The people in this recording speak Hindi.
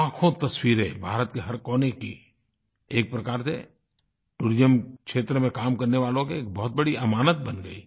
लाखों तस्वीरें भारत के हर कोने की एक प्रकार से टूरिज्म क्षेत्र में काम करने वालों की एक बहुत बड़ी अमानत बन गयी